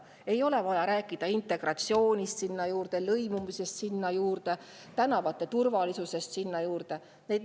Sinna juurde ei ole vaja rääkida integratsioonist, lõimumisest, tänavate turvalisusest.